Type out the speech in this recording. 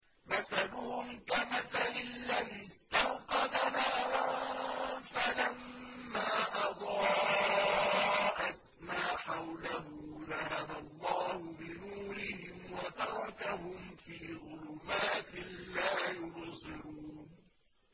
مَثَلُهُمْ كَمَثَلِ الَّذِي اسْتَوْقَدَ نَارًا فَلَمَّا أَضَاءَتْ مَا حَوْلَهُ ذَهَبَ اللَّهُ بِنُورِهِمْ وَتَرَكَهُمْ فِي ظُلُمَاتٍ لَّا يُبْصِرُونَ